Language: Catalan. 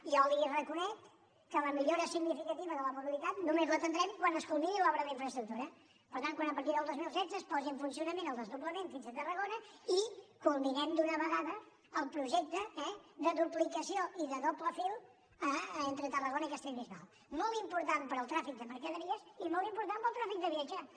i jo li reconec que la millora significativa de la mobilitat només la tindrem quan els culmini l’obra d’infraestructura per tant quan a partir del dos mil setze es posi en funcionament el desdoblament fins a tarragona i culminem d’una vegada el projecte eh de duplicació i de doble fil entre tarragona i castellbisbal molt important per al tràfic de mercaderies i molt important per al tràfic de viatgers